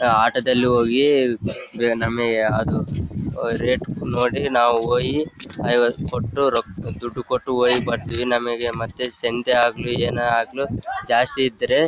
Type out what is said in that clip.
ಆಹ್ಹ್ auto ದಲ್ಲಿ ಹೋಗಿ ನಮಿಗೆ ಅದು ವಾಹ್ ರೇಟ್ ನೋಡಿ ನಾವು ಹೋಗಿ ಐವತು ಕೊಟ್ಟು ರೊಕ್ಕ ದುಡ್ಡ್ ಕೊಟ್ಟು ಹೋಗಿ ಬರ್ತೀವಿ ನಮಿಗೆ ಮತ್ತೆ ಸೆಂದೆ ಆಗ್ಲಿ ಏನೇ ಆಗ್ಲಿ ಜಾಸ್ತಿ ಇದ್ರೆ --